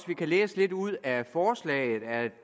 vi kan læse lidt ud af forslaget at